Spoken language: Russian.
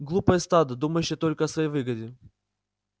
глупое стадо думающее только о своей выгоде